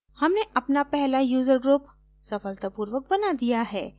हमने अपना पहला user group सफलतापूर्वक बना दिया है